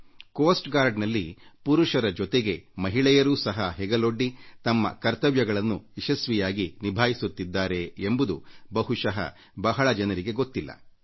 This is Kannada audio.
ಕರಾವಳಿ ಕಾವಲು ಪಡೆಯಲ್ಲಿ ಪುರುಷರಷ್ಟೇ ಅಲ್ಲ ಜೊತೆಗೆ ಮಹಿಳೆಯರೂ ಸಹ ಹೆಗಲೊಡ್ಡಿ ಕಾವಲು ಕರ್ತವ್ಯಗಳನ್ನು ಯಶಸ್ವಿಯಾಗಿ ನಿಭಾಯಿಸುತ್ತಿದ್ದಾರೆ ಎಂಬುದು ಬಹುಶಃ ಬಹಳ ಜನರಿಗೆ ತಿಳಿದಿರಲಿಕ್ಕಿಲ್ಲ